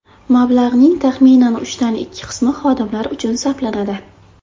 Mablag‘ning taxminan uchdan ikki qismi xodimlar uchun sarflanadi.